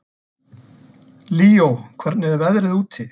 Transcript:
Líó, hvernig er veðrið úti?